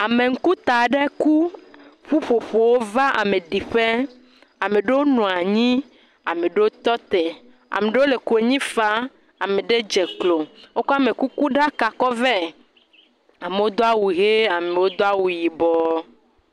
Ameŋuta aɖe ku, ƒuƒoƒo va ameɖiƒe, ame ɖewo nɔ anyi ame ɖewo tɔ te, ame ɖewo le konyi faa, ame ɖewo dze klo, wokɔ amekukuɖaka kɔ vɛ, amewo do awu hee, ame ɖewo do awu yibɔ.